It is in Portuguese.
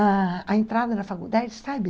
Ãh... a entrada na faculdade, sabe?